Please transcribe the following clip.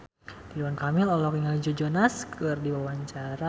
Ridwan Kamil olohok ningali Joe Jonas keur diwawancara